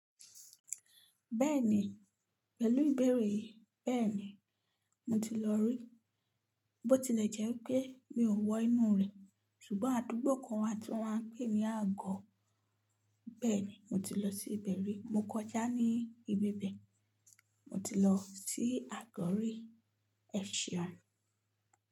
Bẹ́ẹ̀ni, pẹ̀lú ìbẹ̀rẹ̀ yìí bẹ́ẹ̀ni, mo ti lọ rí. Bó tilẹ̀ jẹ́ wipé mi ò wọ inú rẹ̀, ṣùgbọ́n àdúgbò kan wà tí wọ́n ń pè ní Àgọ́. Bẹ́ẹ̀ni, mo ti lọ sí ibẹ̀ rí. Mo kọjá ní ibi bẹ̀. Mo ti lọ sí Àgọ́ rí, ẹ̀ ṣeun.